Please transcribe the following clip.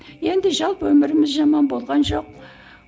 енді жалпы өміріміз жаман болған жоқ